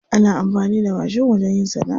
Ana amfani da mashin wajen yin sana'a.